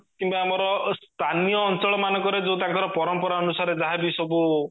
କିମ୍ବା ଆମର ସ୍ଥାନୀୟ ଅଞ୍ଚଳ ମାନଙ୍କରେ ଯୋଉ ତାଙ୍କର ପରମ୍ପରା ଅନୁସାରେ ଯାହାବି ସବୁ